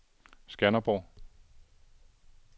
Skanderborg